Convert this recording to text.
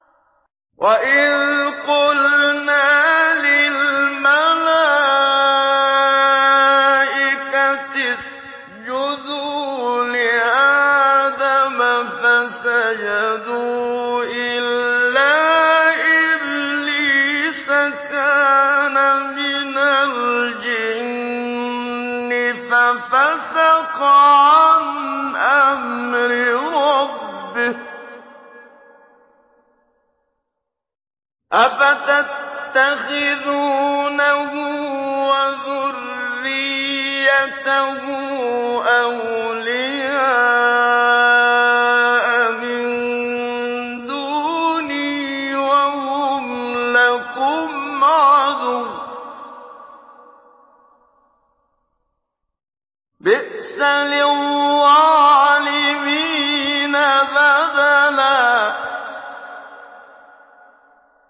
وَإِذْ قُلْنَا لِلْمَلَائِكَةِ اسْجُدُوا لِآدَمَ فَسَجَدُوا إِلَّا إِبْلِيسَ كَانَ مِنَ الْجِنِّ فَفَسَقَ عَنْ أَمْرِ رَبِّهِ ۗ أَفَتَتَّخِذُونَهُ وَذُرِّيَّتَهُ أَوْلِيَاءَ مِن دُونِي وَهُمْ لَكُمْ عَدُوٌّ ۚ بِئْسَ لِلظَّالِمِينَ بَدَلًا